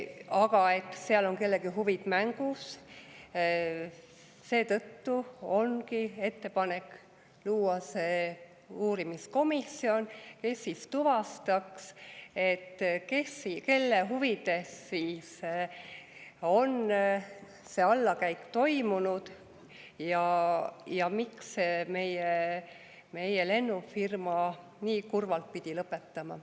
Aga seetõttu, et seal on kellegi huvid mängus, ongi ettepanek luua see uurimiskomisjon, kes tuvastaks, kelle huvides on see allakäik toimunud ja miks meie lennufirma nii kurvalt pidi lõpetama.